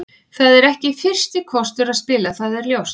Það er ekki fyrsti kostur að spila, það er ljóst.